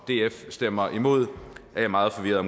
df stemmer imod er jeg meget forvirret